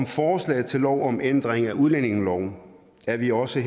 forslaget til lov om ændring af udlændingeloven er vi også